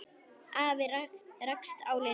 Afi rakst á Lillu.